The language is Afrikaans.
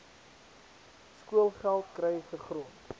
skoolgeld kry gegrond